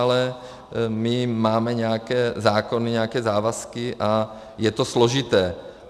Ale my máme nějaké zákony, nějaké závazky a je to složité.